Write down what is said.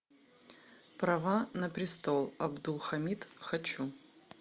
права на престол абдулхамид хочу